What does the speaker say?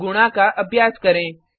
अब गुणा का अभ्यास करें